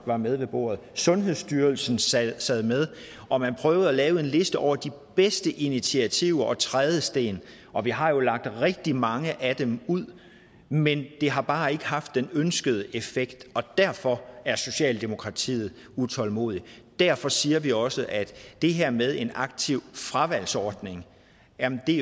var med ved bordet sundhedsstyrelsen sad sad med og man prøvede at lave en liste over de bedste initiativer og trædesten og vi har jo lagt rigtig mange af dem ud men det har bare ikke haft den ønskede effekt og derfor er socialdemokratiet utålmodige derfor siger vi også at det her med en aktiv fravalgsordning